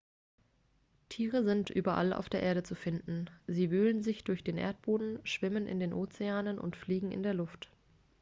tiere sind überall auf der erde zu finden sie wühlen sich durch den erdboden schwimmen in den ozeanen und fliegen in der luft